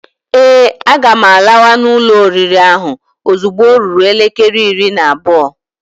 Ee, a ga m lawa na ulo oriri ahụ ozugbo ọ ruru elekere iri na abụọ.